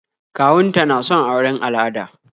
Kawun ta na son auren al'ada